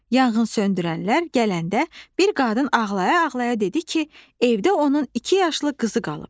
Yanğınsöndürənlər gələndə bir qadın ağlaya-ağlaya dedi ki, evdə onun iki yaşlı qızı qalıb.